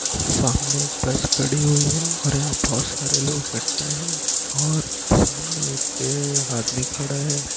सामने एक बस खड़ी हुई है और यहाँ बहुत सारे लोग इकट्ठा है और सामने एक ए आदमी खड़ा है।